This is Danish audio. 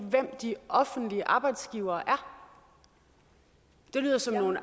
de offentlige arbejdsgivere er det lyder som nogle